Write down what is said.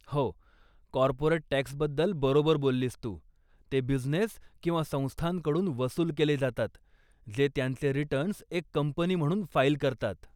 हो, कॉर्पोरेट टॅक्सबद्दल बरोबर बोललीस तू, ते बिझनेस किंवा संस्थांकडून वसूल केले जातात, जे त्यांचे रिटर्न्स एक कंपनी म्हणून फाईल करतात.